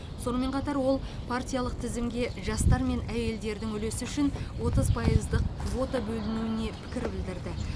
сонымен қатар ол партиялық тізімге жастар мен әйелдердің үлесі үшін отыз пайыздық квота бөлінуіне пікір білдірді